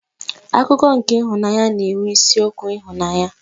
Akụkọ nke ịhụnanya na-enwe isiokwu ịhụnanya.